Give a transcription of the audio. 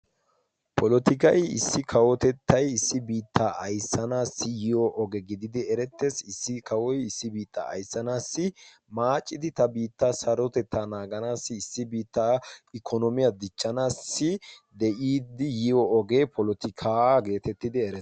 Polotikay issi kawotettay issi biittaa ayssanaassi yiyo oge gididi erettees. issi kawoy issi biittaa ayssanaassi maaccidi ta biitta sarotettaa naaganaassi issi biittaa ikkonoomiyaa dichchanaassi de'iiddi yiyo ogee polotikaa geetettidi ere